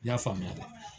I y'a faamuya dɛ